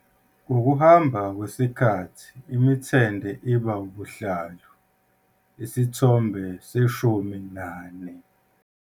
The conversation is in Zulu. Ngokuhamba kwesikhathi imithende iba "ubuhlalu", Isithombe 14.